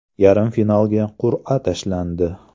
Yarim finalga qur’a tashlandi.